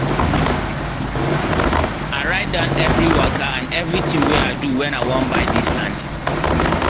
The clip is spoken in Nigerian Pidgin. i write down everi waka and every thing wey i do when i wan buy dis land